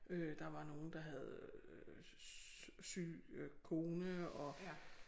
Øh der var nogle der havde øh syg øh kone og